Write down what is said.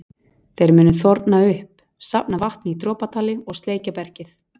Þeir munu þorna upp, safna vatni í dropatali og sleikja bergið.